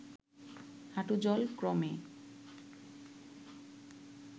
হাঁটু-জল ক্রমে